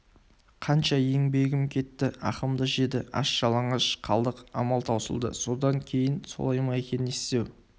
қанша еңбегім кетті ақымды жеді аш-жалаңаш қалдық амал таусылды содан кейін солай ма екен не істеу